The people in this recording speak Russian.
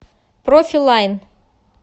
профи лайн